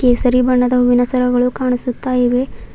ಕೇಸರಿ ಬಣ್ಣದ ಹೂವಿನ ಸರಗಳು ಕಾಣಿಸುತ್ತ ಇವೆ.